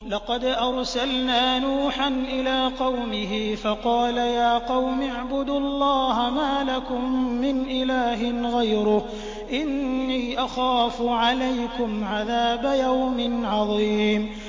لَقَدْ أَرْسَلْنَا نُوحًا إِلَىٰ قَوْمِهِ فَقَالَ يَا قَوْمِ اعْبُدُوا اللَّهَ مَا لَكُم مِّنْ إِلَٰهٍ غَيْرُهُ إِنِّي أَخَافُ عَلَيْكُمْ عَذَابَ يَوْمٍ عَظِيمٍ